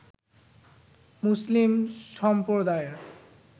মুসলিম সম্প্রদায়ের